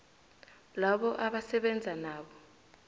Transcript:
labo abasebenza nabo